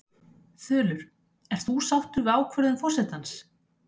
Þulur: Ert þú sáttur við ákvörðun forsetans?